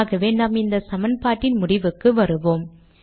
ஆகவே நாம் இந்த சமன்பாட்டின் முடிவுக்கு வருவோம்